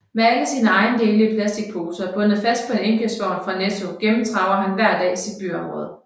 Med alle sine ejendele i plastikposer bundet fast på en indkøbsvogn fra Netto gennemtraver han hver dag sit byområde